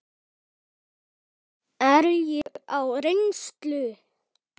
Er ég á reynslu?